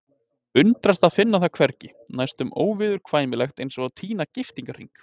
Undrast að finna það hvergi, næstum óviðurkvæmilegt eins og að týna giftingarhring.